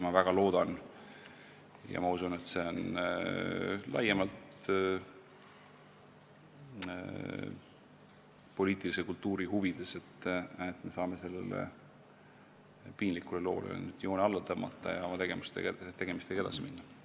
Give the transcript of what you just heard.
Ma väga loodan ja usun, et see on laiemalt poliitilise kultuuri huvides, et me saame sellele piinlikule loole nüüd joone alla tõmmata ja oma tegemistega edasi minna.